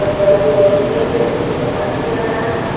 और बल्ब भी लग रहे हैं जिससे प्रकाश भी आ रहा हैं।